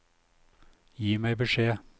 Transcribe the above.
Gi meg beskjed